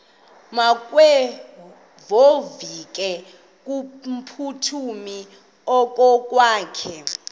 makevovike kumphuthumi okokwakhe